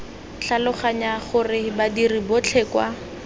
tlhaloganya gore badiri botlhe kwa